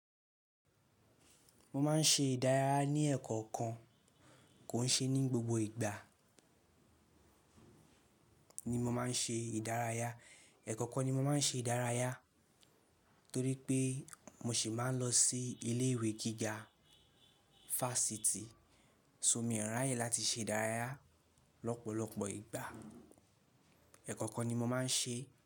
Mo máà ń ṣe ìdárayá ní ekan kan kò ń ṣe ní gbogbo ìgbà ni mo máa ń ṣe ìdárayá. Ekan kan ni mo máa ń ṣe ìdárayá torí pé mo ṣì máà ń lọ sí ilé ìwé gíga fásitì. So mí ò ráyè láti ṣe ìdárayá lọ́pọ̀lọpọ̀ ìgbà. Ekan kan ni mo máa ń ṣe.